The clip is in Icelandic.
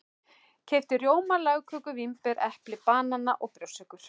Keypti rjóma, lagköku, vínber, epli, banana og brjóstsykur.